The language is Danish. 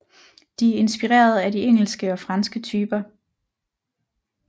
De er inspireret af de engelske og franske typer